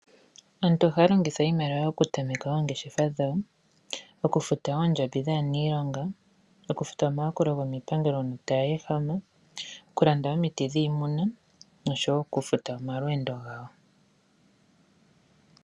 Aantu ohaya longitha iimaliwa oku tameka oongeshefa dhawo, oku futa oondjambi dhaaniilonga, okufuta omayakulo gomiipangelo uuna tayehama, okulanda omiti dhiimuna noshowo oku futa omalweendo gawo